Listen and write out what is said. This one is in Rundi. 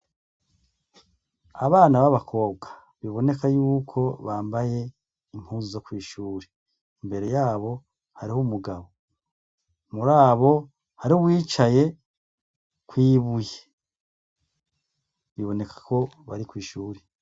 Abana b’abakobwa biboneka yuko bambaye impuzu zo kw’ishure. Imbere yabo, harih’umugabo, Muraho harihuwicaye kw’ibuye ,bibonekako bari kw’ishuri.